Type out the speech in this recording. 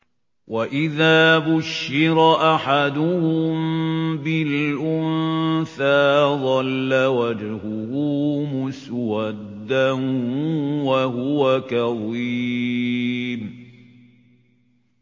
وَإِذَا بُشِّرَ أَحَدُهُم بِالْأُنثَىٰ ظَلَّ وَجْهُهُ مُسْوَدًّا وَهُوَ كَظِيمٌ